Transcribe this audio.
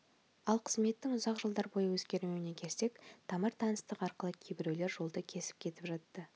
ал қызметтің ұзақ жылдар бойы өзгермеуіне келсек тамыр-таныстық арқылы кейбіреулер жолды кесіп кетіп жатты